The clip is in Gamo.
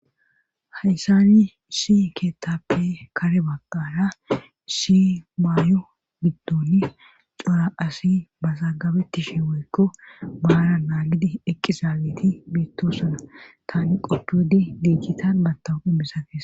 hayssani issi keettappe kare baqaara shi maayo biddoni cora asi ba zaagabettishi woykko maara naagidi eqqizaaleti beettosuna tani qodude diicchitan battahuphimisakees